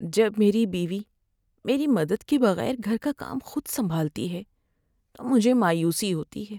جب میری بیوی میری مدد کے بغیر گھر کا کام خود سنبھالتی ہے تو مجھے مایوسی ہوتی ہے۔